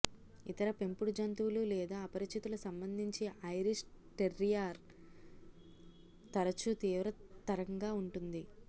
ఇతర పెంపుడు జంతువులు లేదా అపరిచితుల సంబంధించి ఐరిష్ టెర్రియర్ తరచూ తీవ్రతరంగా ఉంటుంది